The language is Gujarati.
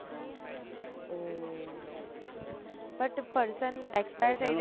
ઓહ but person expire થય